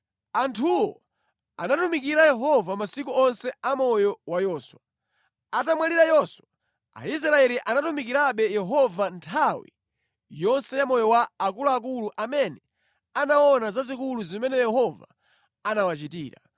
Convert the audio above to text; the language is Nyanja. Anthuwo anatumikira Yehova masiku onse a moyo wa Yoswa. Atamwalira Yoswa, Aisraeli anatumikirabe Yehova nthawi yonse ya moyo wa akuluakulu amene anaona zazikulu zimene Yehova anawachitira.